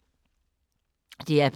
DR P2